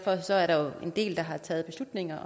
en